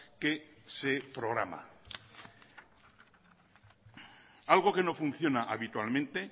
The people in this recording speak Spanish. que se programa algo que no funciona habitualmente